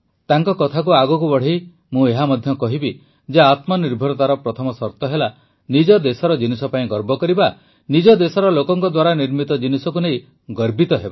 ତାଙ୍କ କଥାକୁ ଆଗକୁ ବଢ଼ାଇ ମୁଁ ଏହା ମଧ୍ୟ କହିବି ଯେ ଆତ୍ମନିର୍ଭରତାର ପ୍ରଥମ ସର୍ତ ହେଲା ନିଜ ଦେଶର ଜିନିଷ ପାଇଁ ଗର୍ବ କରିବା ନିଜ ଦେଶର ଲୋକଙ୍କ ଦ୍ୱାରା ନିର୍ମିତ ଜିନିଷକୁ ନେଇ ଗର୍ବିତ ହେବା